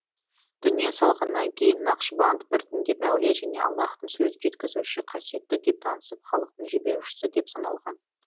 дүние салғаннан кейін нақшбанд біртіндеп әулие және аллаһтың сөзін жеткізуші қасиетті деп танысып халықтың жебеушісі деп саналған